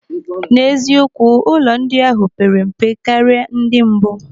N'eziokwu, ụlọ ndị ahụ pere mpe karịa ndị mbụ.